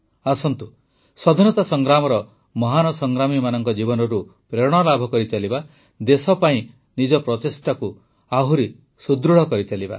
ଆସନ୍ତୁ ସ୍ୱାଧୀନତା ସଂଗ୍ରାମର ମହାନ ସଂଗ୍ରାମୀମାନଙ୍କ ଜୀବନରୁ ପ୍ରେରଣା ଲାଭ କରିଚାଲିବା ଦେଶ ପାଇଁ ନିଜ ପ୍ରଚେଷ୍ଟାକୁ ଆହୁରି ସୁଦୃଢ଼ କରିଚାଲିବା